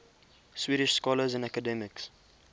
swedish scholars and academics